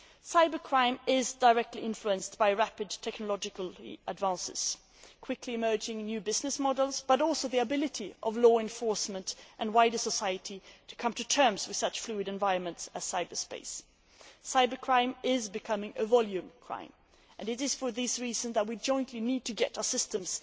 Cybercrime is directly influenced by rapid technological advances, quickly emerging in new business models, but also by the ability of law enforcement and wider society to come to terms with such fluid environments as cyberspace. Cybercrime is becoming a volume crime. It is for this reason that we need jointly to get our systems